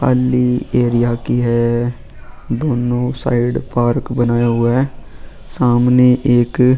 खाली एरिया की है दोनों साइड पार्क बनाया हुआ है सामने एक.